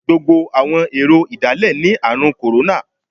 Gbogbo àwọn èrò ìdálẹ̀ ní Ààrùn kòrónà.